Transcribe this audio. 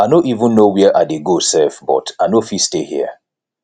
i no even know where i dey go sef but i no fit stay here